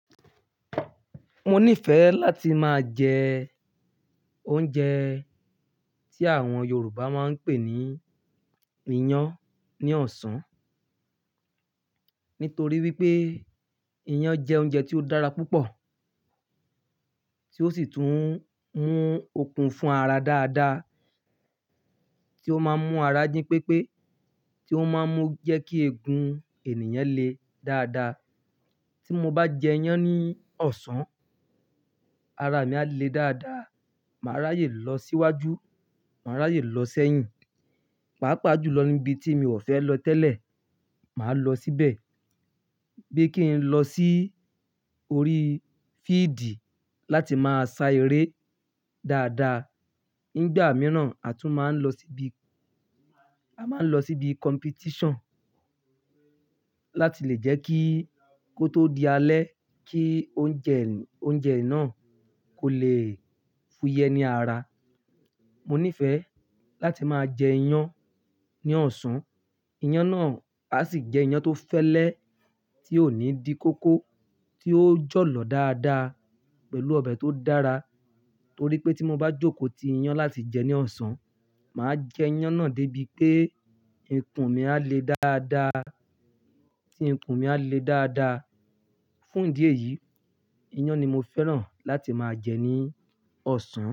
Mo nífẹ̀ẹ́ láti máa jẹ oúnjẹ tí àwọn Yorùbá máa ń pè ní iyán ní ọ̀sán, nítorí wípé iyán jẹ́ oúnjẹ tí ó dára púpọ̀, tí ó sì tún mú okun fún ara dáadáa, tí ó máa ń mú ara jí pépé, tí ó máa ń mú jẹ́ kí egun ènìyàn le dáadáa. Tí mo bá jẹ iyán ní ọ̀sán, ara mi á le dáadáa, màá ráyè lọ síwájú, màá ráyè lọ sẹ́yìn, pàápàá jùlọ níbi tí mi ò fẹ́ lọ tẹ́lẹ̀, màá lọ síbẹ̀. Bí kín n lọ sí orí fíídì láti máa sa eré dáadáa. Nígbà mìíràn, a tún máa ń lọ síbi, a máa ń lọ síbi competition láti lè jẹ́ kí kó tó di alẹ́, kí oúnjẹ, oúnjẹ náà kò lè fúyẹ́ ní ara. Mo nífẹ̀ẹ́ láti máa jẹ iyán ní ọ̀sán. Iyán náà a sì jẹ́ iyán tó fẹ́lẹ́, tí ò ní di kóko, tí ó jọ̀lọ̀ dáadáa pẹ̀lú ọbẹ̀ tó dára. Torí pé tí mo bá jókòó ti iyán láti jẹ́ ní ọ̀sán, màá jẹ iyán náà débi pé ikùn mi á le dáadáa. Tí ikùn mi á le dáadáa. Fún ìdí èyí, iyán ni mo fẹ́ràn láti máa jẹ ní ọ̀sán.